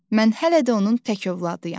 Mən hələ də onun tək övladıyam.